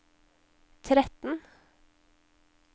tretten